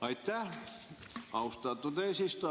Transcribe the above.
Aitäh, austatud eesistuja!